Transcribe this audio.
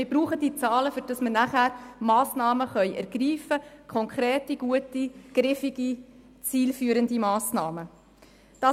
Wir brauchen diese Zahlen, damit wir anschliessend konkrete, gute, griffige und zielführende Massnahmen ergreifen können.